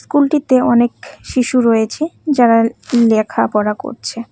স্কুলটিতে অনেক শিশু রয়েছে যারা লেখাপড়া করছে।